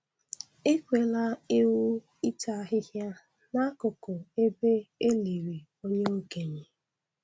Ekwela ewu ịta ahịhịa n'akụkụ ebe e liri onye okenye